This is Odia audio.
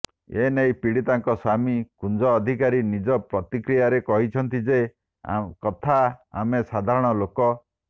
ଏନେଇ ପୀଡ଼ିତାଙ୍କ ସ୍ୱାମୀ କୁଞ୍ଜ ଅଧିକାରୀ ନିଜ ପ୍ରତିକ୍ରିୟାରେ କହିଛନ୍ତି ଯେ କଥା ଆମେ ସାଧାରଣ ଲୋକ